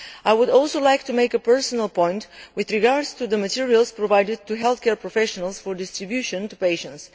I would also like to make a personal point with regard to the materials provided to healthcare professionals for distribution to patients.